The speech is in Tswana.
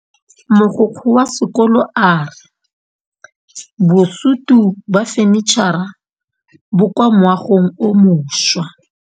Mogokgo wa sekolo a re bosutô ba fanitšhara bo kwa moagong o mošwa.